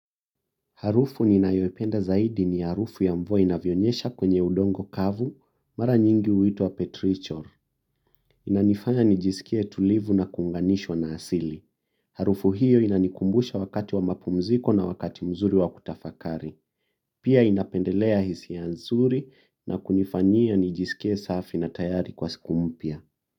Harufu ninayoipenda zaidi ni harufu ya mvua inavyonyesha kwenye udongo kavu mara nyingi huitwa petrichor. Inanifanya nijisikie tulivu na kuunganishwa na asili. Harufu hiyo inanikumbusha wakati wa mapumziko na wakati mzuri wa kutafakari. Pia inapendelea hisia nzuri na kunifanyia nijisikie safi na tayari kwa siku mpya.